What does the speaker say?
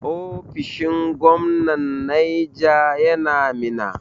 Ofishin gwamnan Naija yana Minna.